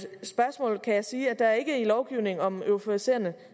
spørgsmål kan jeg sige at der ikke i lovgivningen om euforiserende